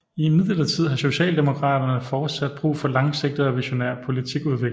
Imidlertid har Socialdemokraterne fortsat brug for langsigtede og visionær politikudvikling